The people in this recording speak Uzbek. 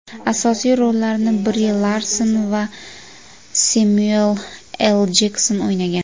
Asosiy rollarni Bri Larson va Semyuel L. Jekson o‘ynagan.